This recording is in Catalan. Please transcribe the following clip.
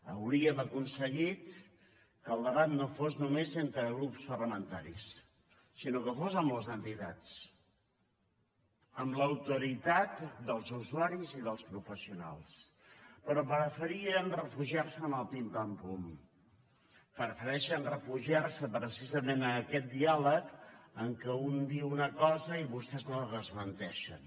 hauríem aconseguit que el debat no fos només entre grups parlamentaris sinó que fos amb les entitats amb l’autoritat dels usuaris i dels professionals però preferien refugiar se en el pim pam pum prefereixen refugiar se precisament en aquest diàleg en que un diu una cosa i vostès la desmenteixen